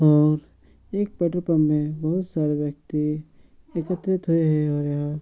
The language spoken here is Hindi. और एक पेट्रोल पंप में बहुत सारे व्यक्ति एकत्रित होए ये होय हो |